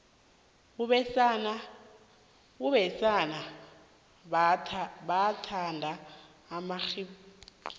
abesana bathanda amaribhidlhla